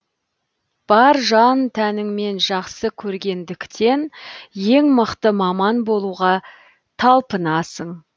бар жан тәніңмен жақсы көргендіктен ең мықты маман болуға талпынасың